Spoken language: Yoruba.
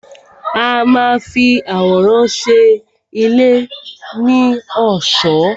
A má a fi àwòrán ṣe ilé ní ọ̀ṣọ́.